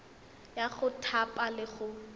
ya go thapa le go